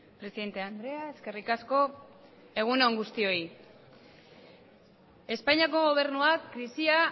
presidente andrea eskerrik asko egun on guztioi espainiako gobernuak krisia